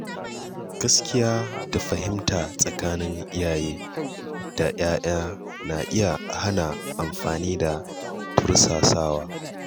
Gaskiya da fahimta tsakanin iyaye da ‘ya’ya na iya hana amfani da tursasawa.